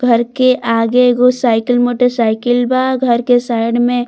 घर के आगे एगो साइकिल मोटर साइकिल बा घर के साइड में --